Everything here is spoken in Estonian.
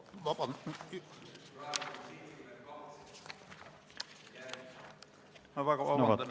Palun väga vabandust!